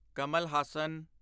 Kamal Haasan